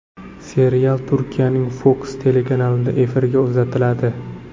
Serial Turkiyaning Fox telekanalida efirga uzatiladi.